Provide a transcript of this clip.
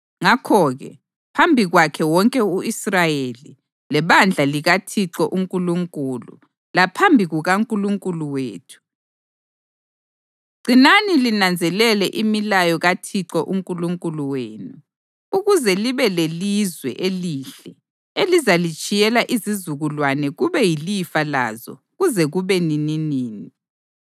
Ngakho-ke phambi kwakhe wonke u-Israyeli, lebandla likaThixo uNkulunkulu, laphambi kukaNkulunkulu wethu: gcinani linanzelele imilayo kaThixo uNkulunkulu wenu, ukuze libe lelizwe elihle elizalitshiyela izizukulwane kube yilifa lazo kuze kube nininini.